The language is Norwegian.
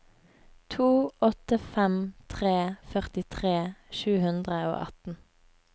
to åtte fem tre førtitre sju hundre og atten